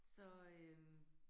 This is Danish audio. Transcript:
Så øh